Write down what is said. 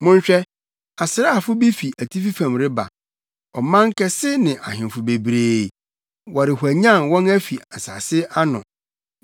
“Monhwɛ! Asraafo bi fi atifi fam reba; ɔman kɛse ne ahemfo bebree, wɔrehwanyan wɔn afi nsase ano.